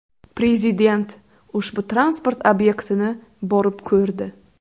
Prezident ushbu transport obyektini borib ko‘rdi.